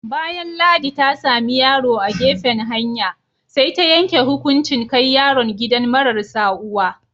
Bayan Ladi ta sami yaro a gefen hanya, sai ta yanke hukunchin kai yaron gidan mararsa uwa.